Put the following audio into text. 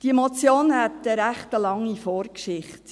Diese Motion hat eine recht lange Vorgeschichte.